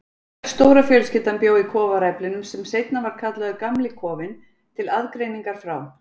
Öll stóra fjölskyldan bjó í kofaræflinum sem seinna var kallaður Gamli kofinn, til aðgreiningar frá